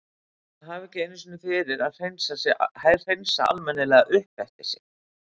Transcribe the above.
Að hafa ekki einu sinni fyrir að hreinsa almennilega upp eftir sig.